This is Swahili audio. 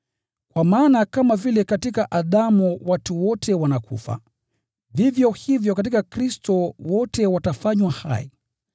Kwa maana kama vile katika Adamu watu wote wanakufa, vivyo hivyo katika Kristo wote watafanywa hai.